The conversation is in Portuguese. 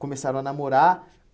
Começaram a namorar.